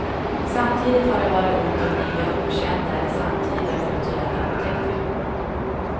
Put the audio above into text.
Samtidigt har det varit ont om nya, okända eller samtida kulturella upptäckter.